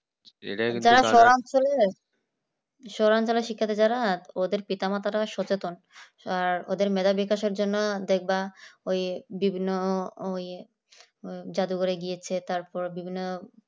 শহরাঞ্চলের শিক্ষার্থী যারা ওদের পিতা-মাতা ও সচেতন আর ওদের মেধা বিকাশের জন্য দেখ বা ওই বিভিন্ন ওই জাদুঘরে গিয়েছে তারপর বিভিন্ন